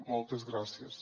moltes gràcies